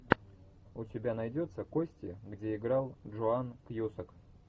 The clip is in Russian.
у тебя найдется кости где играл джоан кьюсак